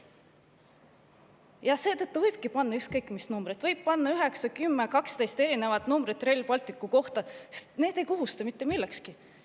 Seetõttu võibki panna ükskõik mis numbreid, võib panna üheksa, kümme või kaksteist erinevat numbrit Rail Balticu kohta, sest need ei kohusta mitte millekski.